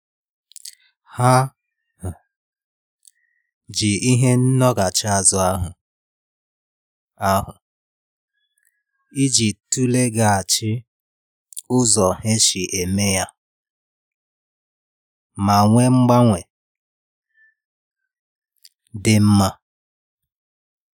Ha um ji ihe ndọghachi azụ ahụ ahụ iji tụleghachi ụzọ ha si eme ya ma nwee mgbanwe dị mma